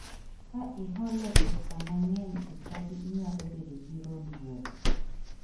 Ka ihole pesa mang'eny e chadi inyalo bedo gi rondruok